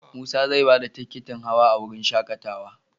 Musa zai ba da tikitin hawa a wurin shaAƙatawa.